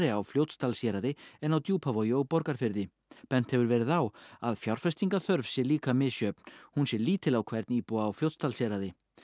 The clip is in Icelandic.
á Fljótsdalshéraði en á Djúpavogi og Borgarfirði bent hefur verið á að fjárfestingaþörf sé líka misjöfn hún sé lítil á hvern íbúa á Fljótsdalshéraði